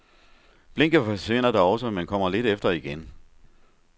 Blinket forsvinder da også, men kommer lidt efter igen.